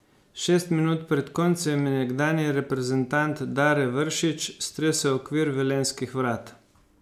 Šest minut pred koncem je nekdanji reprezentant Dare Vršič stresel okvir velenjskih vrat.